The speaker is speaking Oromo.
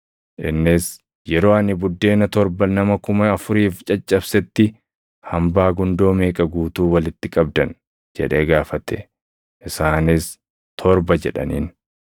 Innis, “Yeroo ani buddeena torba nama kuma afuriif caccabsetti hambaa gundoo meeqa guutuu walitti qabdan?” jedhee gaafate. Isaanis, “Torba” jedhaniin.